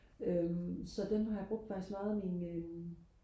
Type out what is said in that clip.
øhm så den har jeg brugt faktisk meget af min øhm